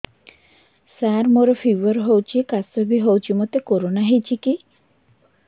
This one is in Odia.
ସାର ମୋର ଫିବର ହଉଚି ଖାସ ବି ହଉଚି ମୋତେ କରୋନା ହେଇଚି କି